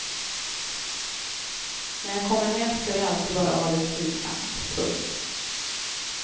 När jag kommer hem ska vi alltid bara ha det trivsamt. punkt